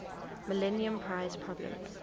millennium prize problems